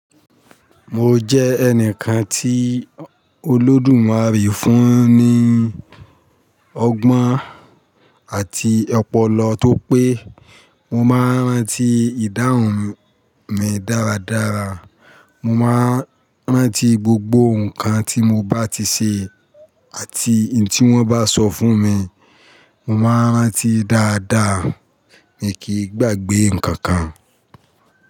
Mo jẹ́ ẹnìkan tí olódùmarè fún ní ọgbọ́n àti ọpọlọ tó pé mo máa ń rántí ìdáhùn mi dáradára, mo máa ń rántí gbogbo nǹkan tí mo bá ti ṣe àti ntí wọ́n bá sọ fún mi, mo máa ń rántí dáadáa mi kì í gbàgbé nǹkan kan.